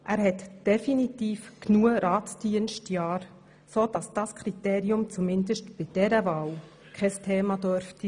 Er hat definitiv genügend Ratsdienstjahre absolviert, sodass dieses Kriterium zumindest bei dieser Wahl kein Thema sein dürfte.